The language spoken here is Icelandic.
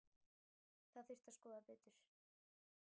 Það þurfi að skoða betur.